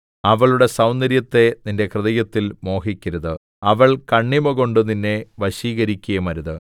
അവളുടെ സൗന്ദര്യത്തെ നിന്റെ ഹൃദയത്തിൽ മോഹിക്കരുത് അവൾ കണ്ണിമകൊണ്ട് നിന്നെ വശീകരിക്കുകയുമരുത്